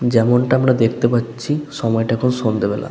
যেমনটা আমরা দেখতে পাচ্ছি। সময়টা এখন সন্ধ্যাবেলা।